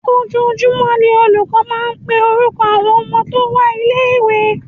Ojoojúmọ́ ni olùkọ́ máa ń máa ń pe orúkọ àwọn ọmọ tó wá ilé ìwé.